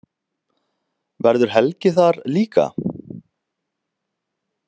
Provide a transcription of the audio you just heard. Verður Helgi þar líka?